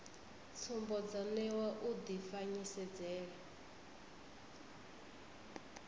tsumbo dzo newa u dzifanyisedzele